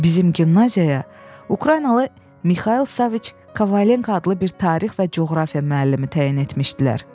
Bizim gimnaziyaya Ukraynalı Mixail Saviç Kovalenko adlı bir tarix və coğrafiya müəllimi təyin etmişdilər.